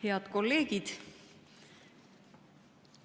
Head kolleegid!